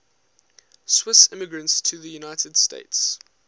swiss immigrants to the united states